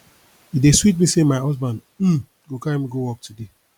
e dey sweet me say my husband um go carry me go work today